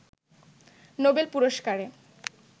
Nobel পুরস্কারে